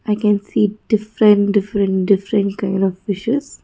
we can see different different different kind of fishes.